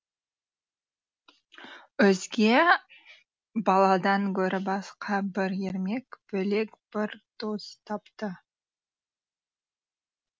өзге баладан гөрі басқа бір ермек бөлек бір дос тапты